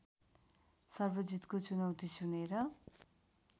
सर्वजितको चुनैती सुनेर